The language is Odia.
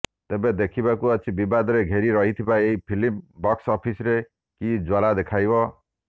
ତେବେ ଦେଖିବାକୁ ଅଛି ବିବାଦରେ ଘେରି ରହିଥିବା ଏହି ଫିଲ୍ମ ବକ୍ସ ଅଫିସରେ କି ଜଲ୍ୱା ଦେଖାଇବ